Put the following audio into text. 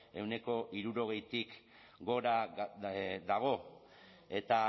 ehuneko hirurogeitik gora dago eta